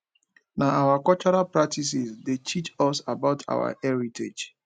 na our cultural practices dey teach us about our heritage